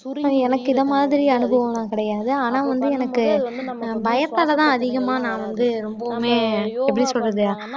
எனக்கு இதுமாதிரி அனுபவம் எல்லாம் கிடையாது ஆனா வந்து எனக்கு பயத்தாலதான் அதிகமா நான் வந்து ரொம்பவுமே எப்படி சொல்றது